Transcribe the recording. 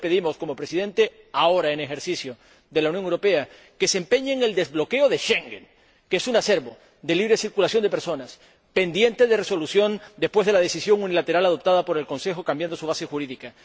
Por eso le pedimos, como Presidente en ejercicio del Consejo, que se empeñe en el desbloqueo de Schengen, que es un acervo de libre circulación de personas pendiente de resolución después de la decisión unilateral adoptada por el Consejo de cambiar su base jurídica.